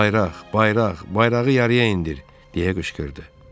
Bayraq, bayraq, bayrağı yarıya indir, deyə qışqırdı.